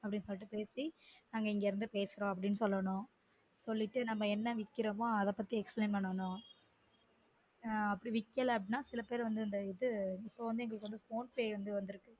அப்டினு சொல்லிட்டு பேசி நாங்க இங்க இருந்து பேசுரோம்அப்டினு சொல்லனும் சொல்லிட்டு நாம்ம என்ன விக்கிரொமோ அத பத்தி explain பண்ணனும் ஆஹ் விக்கலனா அப்டினா சில பேர் வந்து இது இப்ப எங்களுக்கு phone pay வந்துருக்கு